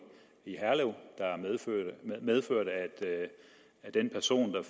i herlev der medførte at den person der